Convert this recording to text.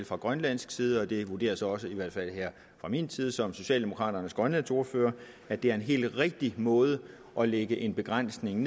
fra grønlandsk side og det vurderes også i hvert fald her fra min side som socialdemokraternes grønlandsordfører at det er en helt rigtig måde at lægge en begrænsning